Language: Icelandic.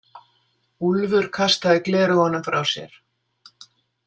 Úlfur kastaði gleraugunum frá sér.